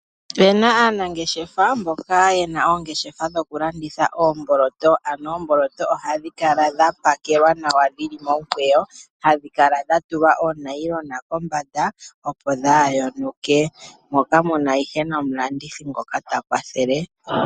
Opena aanangeshefa mboka yena oongeshefa dhokulanditha oomboloto. ohadhilala dhapakelwa dhili momikweyo hadhikala dhatulwa oonayilona kombada opo kaadhiyonuke. Ohumukala nomulandithi ngoka takwathele.